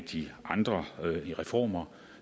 andre reformer